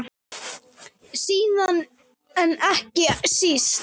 Síðast en ekki síst.